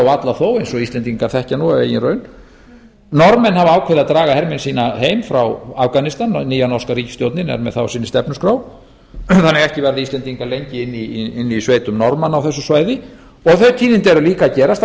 varla þó eins og íslendingar þekkja af eigin raun norðmenn hafa ákveðið að draga hermenn sína heim frá afganistan nýja norska ríkisstjórnin er með það á sinni stefnuskrá en ekki verða íslendingar lengi inni í sveitum norðmanna á þessu svæði og þau tíðindi eru líka að gerast að